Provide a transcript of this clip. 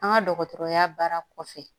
An ka dɔgɔtɔrɔya baara kɔfɛ